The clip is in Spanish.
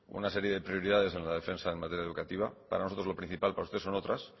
una serie de prioridades en la defensa en materia educativa para nosotros lo principal para ustedes son otras